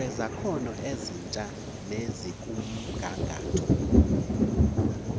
kwezakhono ezitsha nezikumgangatho